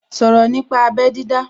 Sọ̀rọ̀ nípa abẹ́ dídá